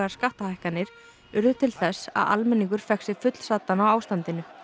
skattahækkanir urðu til þess að almenningur fékk sig fullsaddan á ástandinu